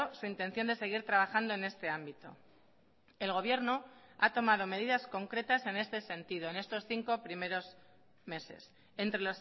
su intención de seguir trabajando en este ámbito el gobierno ha tomado medidas concretas en este sentido en estos cinco primeros meses entre